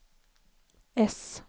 äss